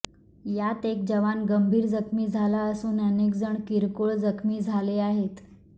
यात एक जवान गंभीर जखमी झाला असून अनेकजण किरकोळ जखमी झाले आहेत